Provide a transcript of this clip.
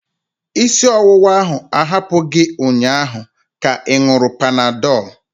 Isi ọwụwa ahụ ahapụ gị ụnyaahụ ka ị ṅuru panadol?